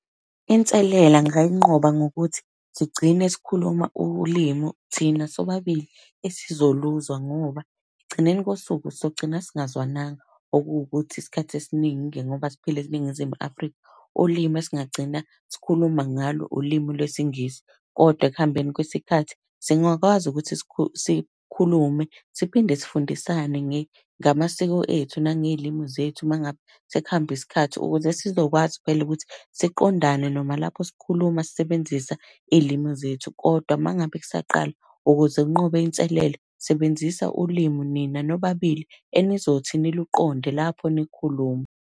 Inselela ngayinqoba ngokuthi sigcine sikhuluma ulimu thina sobabili esizoluzwa ngoba ekugcineni kosuku sogcina singazwananga. Okuwukuthi isikhathi esiningi-ke ngoba siphila eNingizimu Afrika, ulimu esingagcina sikhuluma ngalo ulimu lwesiNgisi. Kodwa ekuhambeni kwesikhathi singakwazi ukuthi sikhulume, siphinde sifundisane ngamasiko ethu nangey'limu zethu uma ngabe sekuhambe isikhathi. Ukuze sizokwazi phela ukuthi siqondane noma lapho sikhuluma sisebenzisa iy'limu zethu. Kodwa uma ngabe kusaqala ukuze unqobe inselela, sebenzisa ulimu nina nobabili enizothi niluqonde lapho nikhuluma.